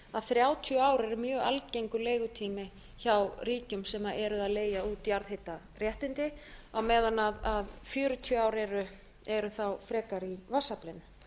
að þrjátíu ár eru mjög algengur leigutími hjá ríkjum sem eru að leigja út jarðhitaréttindi á meðan fjörutíu ár eru þá frekar í vatnsaflinu